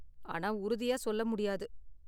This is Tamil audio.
ஆனா உறுதியா சொல்ல முடியாது.